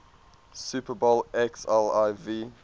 super bowl xliv